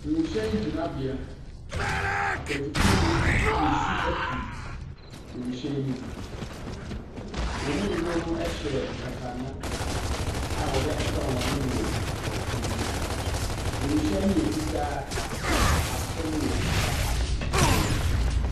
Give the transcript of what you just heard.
Wiemhyɛn gyinabea, akwantufo no retu resi afi wiemhyɛn ne mu. Wɔn mu dodoɔ no hyɛ nkataano a wɔde akata wɔn ano ne wɔn hwene. Wienhyɛn ne yɛ fitaa na ase no yɛ kɔkɔɔ.